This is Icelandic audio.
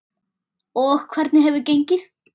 Og hvernig hefur gengið?